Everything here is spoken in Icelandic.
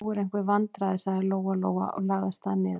Nú eru einhver vandræði, sagði Lóa-Lóa og lagði af stað niður.